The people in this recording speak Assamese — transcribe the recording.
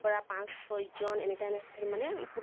পৰা পাছ ছয় জন এনেকা এনেকা কৰি মানে